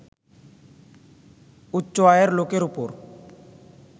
উচ্চ আয়ের লোকের ওপর